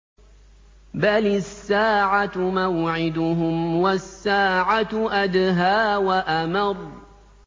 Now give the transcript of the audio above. بَلِ السَّاعَةُ مَوْعِدُهُمْ وَالسَّاعَةُ أَدْهَىٰ وَأَمَرُّ